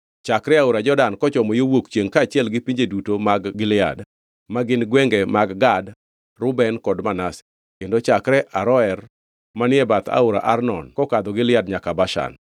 chakre aora Jordan kochomo yo wuok chiengʼ kaachiel gi pinje duto mag Gilead (ma gin gwenge mag Gad, Reuben kod Manase), kendo chakre Aroer manie bath aora Arnon kokadho Gilead nyaka Bashan.